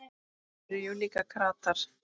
Þeir eru jú líka kratar.